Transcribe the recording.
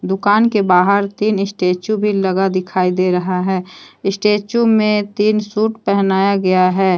दुकान के बाहर तीन स्टैचू भी लगा दिखाई दे रहा है स्टैचू में तीन सूट पहनाया गया है।